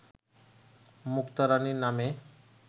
মুক্তা রাণী নামে